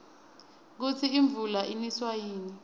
kusi imvula iniswa yini